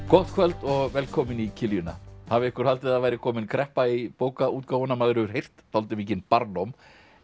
gott kvöld og velkomin í kiljuna hafi einhver haldið að það væri komin kreppa í bókaútgáfuna maður hefur heyrt dálítið mikinn barlóm